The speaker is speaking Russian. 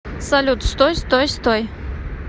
салют стой стой стой